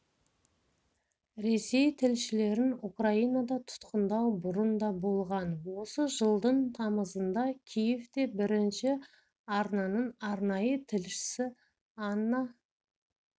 ресей тілшілерін украинада тұтқындау бұрын да болған осы жылдың тамызында киевте бірінші арнаның арнайы тілшісі анна